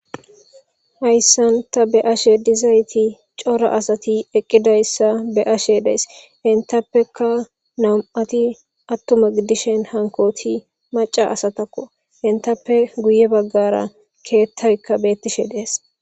hayssanta be7ashe dizayti cora asati eqqidayssa be7ashe dees entappeka nam7ati attuma gidishen hankoti maca asatakko entappe guye baggara keettaykka beettishe dees